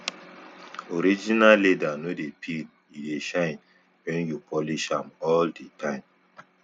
original leather no dey peel e dey shine wen you polish am all di time